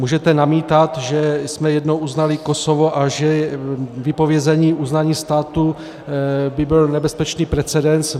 Můžete namítat, že jsme jednou uznali Kosovo a že vypovězení uznání státu by byl nebezpečný precedens.